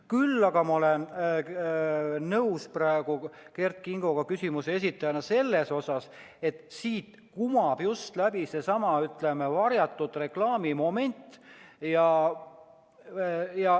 Küll aga olen ma nõus Kert Kingo kui küsimuse esitajaga selles, et siit kumab läbi seesama varjatud reklaami moment.